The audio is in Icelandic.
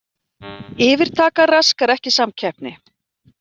Yfirtaka raskar ekki samkeppni